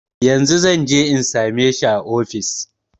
Yanzun zanje in same shi a ofis